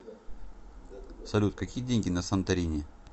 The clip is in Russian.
салют какие деньги на санторини